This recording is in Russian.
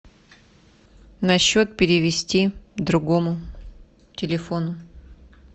на счет перевести другому телефону